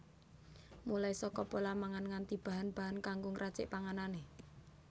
Mulai saka pola mangan nganti bahan bahan kanggo ngracik panganané